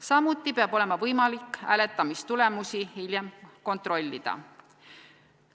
Samuti peab olema võimalik hääletamistulemusi hiljem kontrollida.